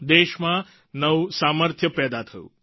દેશમાં નવું સામર્થ્ય પેદા થયું